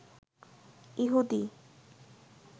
ইহুদি